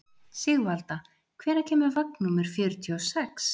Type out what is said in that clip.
Sigvalda, hvenær kemur vagn númer fjörutíu og sex?